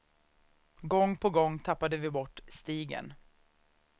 Gång på gång tappade vi bort stigen.